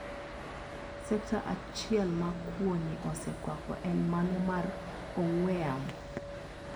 Sekta achiel ma kwo ni osekwako en mano mar ong'we yamo.